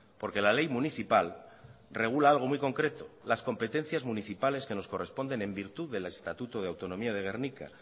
porque la ley municipal regula algo muy concreto las competencias municipales que nos corresponden en virtud del estatuto de autonomía de gernika